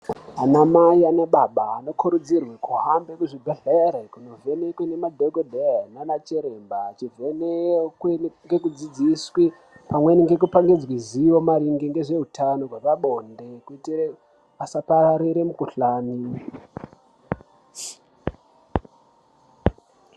Ana mai anababa anokurudzirwe kuhambe kuzvibhedhlere kunovhenekwa nemadhogodheya nana chiremba. Achivhenekwe ngekudzidziswe pamweni ngekupangidzwe zvivo maringe ngehutano hwepabonde kuitire asapararire mukuhlani.